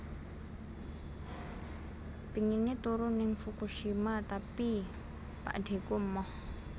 Pingine turu ning Fukushima tapi pakdheku emoh